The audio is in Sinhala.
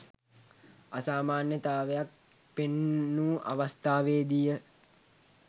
අසාමාන්‍යතාවක් පෙන්නූ අවස්ථාවේදීය.